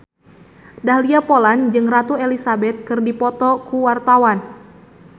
Dahlia Poland jeung Ratu Elizabeth keur dipoto ku wartawan